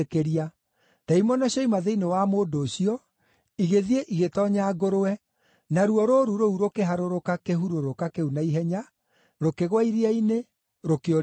Ndaimono cioima thĩinĩ wa mũndũ ũcio, igĩthiĩ igĩtoonya ngũrwe, naruo rũũru rũu rũkĩharũrũka kĩhurũrũka kĩu na ihenya, rũkĩgũa iria-inĩ, rũkĩũrĩra kuo.